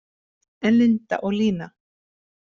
En Linda og Lína?